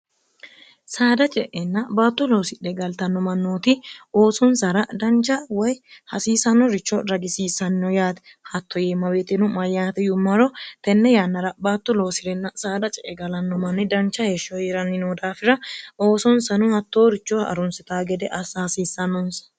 saada ce'enna baatto loosidhe galtannomannooti oosonsara dancha woy hasiisano richo ragisiissanno yaati hatto yiemmawetinu mayyaati yuummaro tenne yannara baattu loosi'renna saada ce egalanno manni dancha heeshsho hii'ranni no daafira oosonsano hattoorichoha arunsita gede assa hasiissannonsa